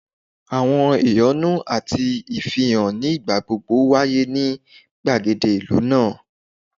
Awọn ehonu ati awọn ifihan ni igbagbogbo waye ni gbagede ilu naa